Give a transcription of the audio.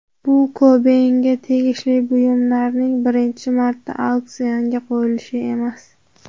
Bu Kobeynga tegishli buyumlarning birinchi marta auksionga qo‘yilishi emas.